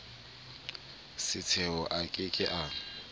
setshelo a ke ke a